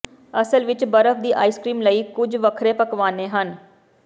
ਅਸਲ ਵਿੱਚ ਬਰਫ ਦੀ ਆਈਸ ਕ੍ਰੀਮ ਲਈ ਕੁੱਝ ਵੱਖਰੇ ਪਕਵਾਨੇ ਹਨ